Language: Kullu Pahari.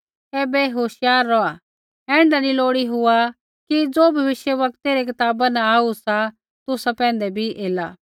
ऐबै होशियार रौहा ऐण्ढा नी लोड़ी हुआ कि ज़ो भविष्यवक्तै रै कताबा न आऊ सा तुसा पैंधै बी एला